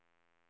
S K O L O R